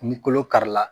Ni kolo kari la